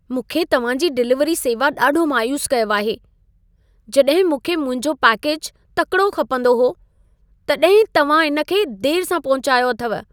मूंखे तव्हां जी डिलीवरी सेवा ॾाढो मायूस कयो आहे। जॾहिं मूंखे मुंहिंजो पैकेज तकिड़ो खपंदो हो, तव्हां तॾहिं ई इन खे देर सां पहुचायो अथव।